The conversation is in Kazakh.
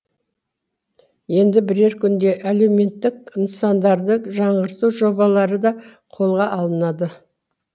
енді бірер күнде әлеуметтік нысандарды жаңғырту жобалары да қолға алынады